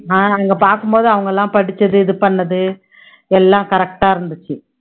ஆஹ் அங்க பாக்கும் போது அவங்க எல்லாம் படிச்சது இது பண்ணது எல்லாம் correct ஆ இருந்துச்சு